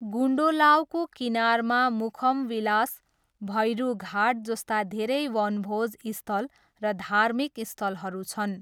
गुन्डोलावको किनारमा मुखमविलास, भैरुघाट जस्ता धेरै वनभोज स्थल र धार्मिक स्थलहरू छन्।